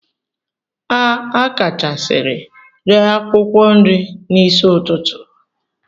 A akachasiri ree akwụkwọ nri n'isi ụtụtụ.